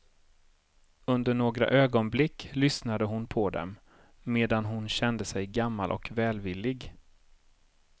Under några ögonblick lyssnade hon på dem, medan hon kände sig gammal och välvillig.